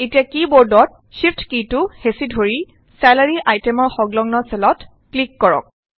এতিয়া কী বোৰ্ডত শ্বিফট কীটো হেঁচি ধৰি ছেলাৰি আইটেমৰ সংলগ্ন চেলত ক্লিক কৰক